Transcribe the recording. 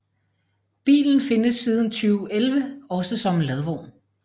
Bilen findes siden 2011 også som ladvogn